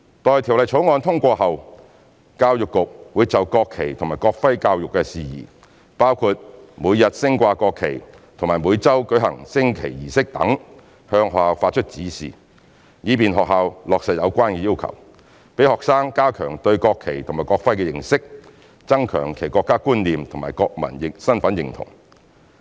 待《條例草案》通過後，教育局會就國旗及國徽教育事宜，包括每天升掛國旗及每周舉行升旗儀式等，向學校發出指示，以便學校落實有關要求，讓學生加強對國旗及國徽的認識，增強其國家觀念和國民身份認同。